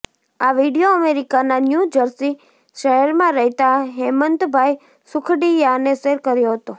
આ વીડિયો અમેરિકાના New Jersey શહેરમાં રહેતા હેમંતભાઈ સુખડિયાએ શેર કર્યો હતો